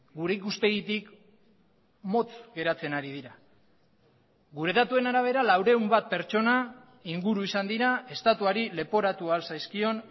gure ikuspegitik motz geratzen ari dira gure datuen arabera laurehun bat pertsona inguru izan dira estatuari leporatu ahal zaizkion